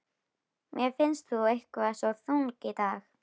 Mér finnst þú eitthvað svo þung í dag.